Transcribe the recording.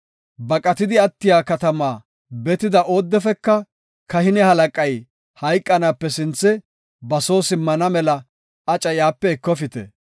Baqatidi attiya katama betida oodefeka kahine halaqay hayqanaape sinthe ba soo simmana mela aca iyape ekofite.